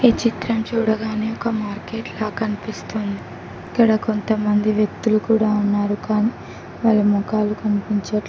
ఈ చిత్రం చూడగానే ఒక మార్కెట్ లాగా కనిపిస్తుంది ఇక్కడ కొంతమంది వ్యక్తులు కూడా ఉన్నారు కానీ వారి మొఖాలు కనిపించట్లే--